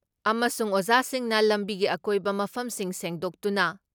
ꯑꯃꯁꯨꯡ ꯑꯣꯖꯥꯁꯤꯡꯅ ꯂꯝꯕꯤꯒꯤ ꯑꯀꯣꯏꯕ ꯃꯐꯝꯁꯤꯡ ꯁꯦꯡꯗꯣꯛꯇꯨꯅ